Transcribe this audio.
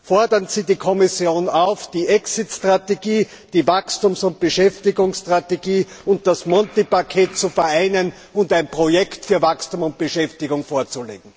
Fordern Sie die Kommission auf, die Exit Strategie, die Wachstums und Beschäftigungsstrategie und das Monti Paket zu vereinigen und ein Projekt für Wachstum und Beschäftigung vorzulegen!